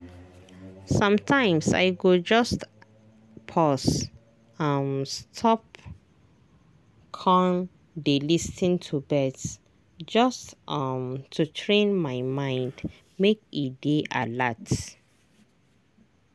sometimes i go just pause um stop con dey lis ten to birds just um to train my mind make e dey alert.